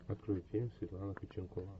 открой фильм светлана ходченкова